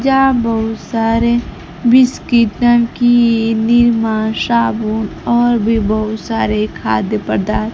जहां बहुत सारे बिस्किट नमकीन निरमा साबुन और भी बहुत सारे खाद्य पदा --